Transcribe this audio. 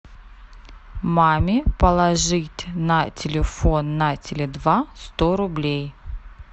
маме положить на телефон на теле два сто рублей